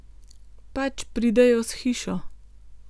Pač pridejo s hišo.